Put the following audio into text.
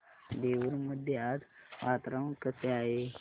देऊर मध्ये आज वातावरण कसे आहे